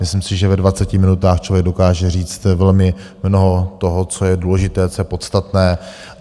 Myslím si, že ve 20 minutách člověk dokáže říct velmi mnoho toho, co je důležité, co je podstatné.